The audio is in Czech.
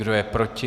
Kdo je proti?